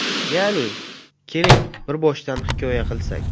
Ya’ni... Keling, bir boshdan hikoya qilsak.